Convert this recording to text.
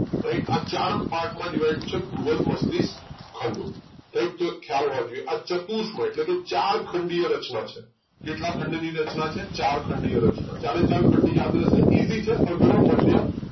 right આ ચાર part માં divided છે બૃહદ મસ્તિષ્ક ખંડો right તો ખ્યાલ હોવા જોઈએ આ ચાર ચતુર્સમય એટલે કે ચાર ખંડીય રચના છે કેટલા ખંડ ની રચના છે ચાર ખંડીય રચના ચારે ચાર ખંડ યાદ રહેશે easy છે અગ્ર મધ્ય